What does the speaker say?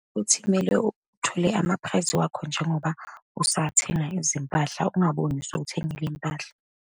Uthi kumele uthole ama-price wakho njengoba usathenga izimpahla, ungaboni sewuthengile iy'mpahla.